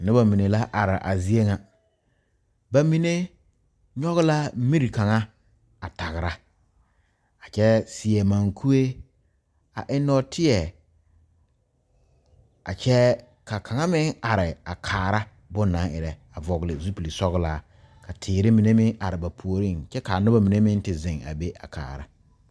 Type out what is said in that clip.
Nobɔ mine la are a zie ŋa ba mine nyoge la miri kaŋa a tagra a kyɛɛ seɛ mankuree a eŋ nɔɔteɛ a kyɛɛ ka kaŋa meŋ are a kaara bon na ba nang erɛ a vɔgle zupile sɔglaa ka teere mine meŋ are ba puoriŋ kyɛ kaa nobɔ mine meŋ te zeŋ a be a kaara.